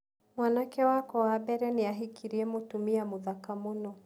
Mwanake wakwa wa mbere nĩ aahikirie mũtumia mũthaka mũno.